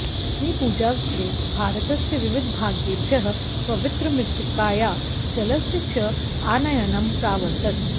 भूमिपूजावसरे भारतस्य विविधभागेभ्यः पवित्रमृत्तिकायाः जलस्य च आनयनं प्रावर्तत